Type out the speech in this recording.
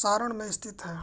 सारण में स्थित है